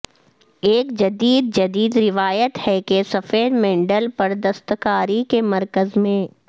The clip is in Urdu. ایک جدید جدید روایت ہے کہ سفید مینڈل پر دستکاری کے مرکز میں